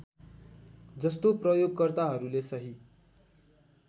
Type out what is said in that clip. जस्तो प्रयोगकर्ताहरूले सही